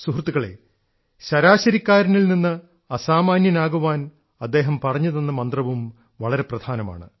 സുഹൃത്തുക്കളേ ശരാശരിക്കാരനിൽനിന്നു അസാമാന്യനാകാൻ അദ്ദേഹം പറഞ്ഞുതന്ന മന്ത്രവും വളരെ പ്രധാനമാണ്